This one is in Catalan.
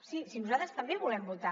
sí si nosaltres també volem votar